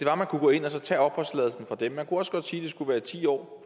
at man kunne gå ind og tage opholdstilladelsen fra dem man kunne også godt sige at det skulle være ti år